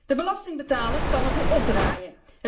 De belastingbetaler kan ervoor opdraaien.